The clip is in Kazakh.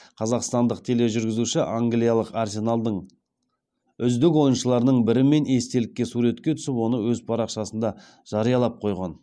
қазақстандық тележүргізуші англиялық арсеналдың үздік ойыншыларының бірімен естелікке суретке түсіп оны өз парақшасында жариялап қойған